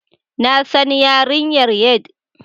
Na san yarinyar Head